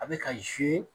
A bɛ ka